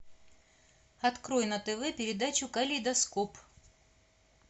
открой на тв передачу калейдоскоп